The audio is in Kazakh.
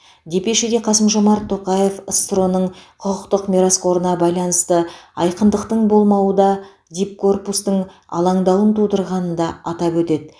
депешеде қасым жомарт тоқаев ссро ның құқықтық мирасқорына байланысты айқындықтың болмауы да дипкорпустың алаңдауын тудырғанын да атап өтеді